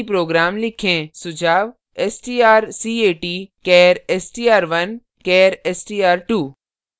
सुझाव: strcat char str1 char str2;